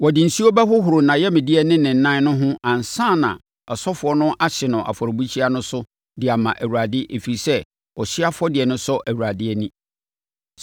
Wɔde nsuo bɛhohoro nʼayamdeɛ ne ne nan no ho ansa na asɔfoɔ no ahye no afɔrebukyia no so de ama Awurade; ɛfiri sɛ, ɔhyeɛ afɔdeɛ sɔ Awurade ani.